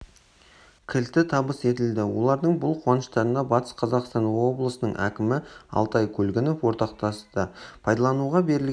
кілті табыс етілді олардың бұл қуаныштарына батыс қазақстан облысының әкімі алтай көлгінов ортақтасты пайдалануға берілген